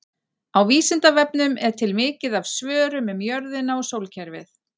Á Vísindavefnum er til mikið af svörum um jörðina og sólkerfið.